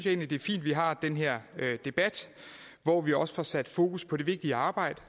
egentlig det er fint at vi har den her debat hvor vi også får sat fokus på det vigtige arbejde